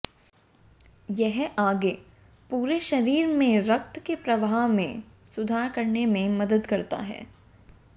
यह आगे पूरे शरीर में रक्त के प्रवाह में सुधार करने में मदद करता है